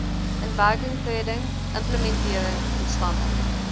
inwerkingtreding implementering instandhouding